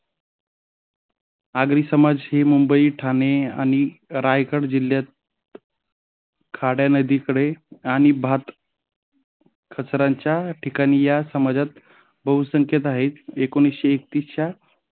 आगरी समाज ही मुंबई ठाणे आणि रायगड जिल्ह्यात खाड्यात नदीकडे आणि भात कचरांच्या ठिकाणी बहुसंख्यता आहे. एकोणीस एकतीसच्या